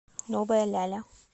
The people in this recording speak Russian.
новая ляля